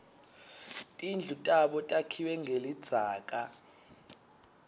tindlu tabo takhiwe ngelidzaka